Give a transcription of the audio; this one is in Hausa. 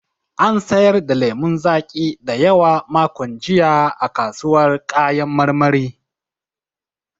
An sayar da lemun zaƙi da yawa makon jiya a kasuwar kayan marmari.